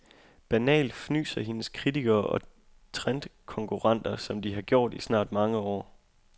Banalt, fnyser hendes kritikere og trendkonkurrenter, som de har gjort i snart mange år.